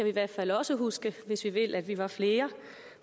i hvert fald også huske hvis vi vil at vi var flere